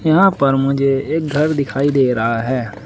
यहां पर मुझे एक घर दिखाई दे रहा है।